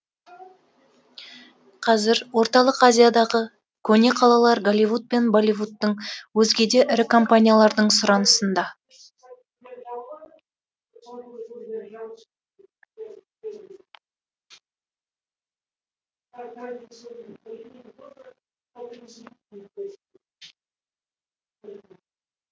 қазір орталық азиядағы көне қалалар голливуд пен болливудтың өзге де ірі компаниялардың сұранысында